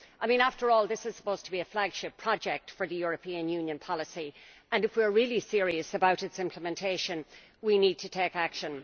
I mean, after all, this is supposed to be a flagship project for European Union policy and if we are really serious about its implementation we need to take action.